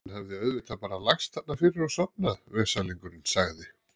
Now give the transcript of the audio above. Hann hafði auðvitað bara lagst þarna fyrir og sofnað, veslingurinn, sagði